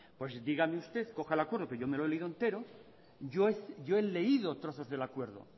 pues dígame usted coja el acuerdo que yo me lo he leído entero yo he leído trozos del acuerdo